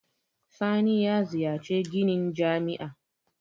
Sani ya ziyarci ginin jami'a.